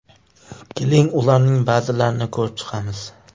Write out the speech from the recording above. Keling, ularning ba’zilarini ko‘rib chiqamiz.